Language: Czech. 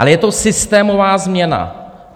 Ale je to systémová změna.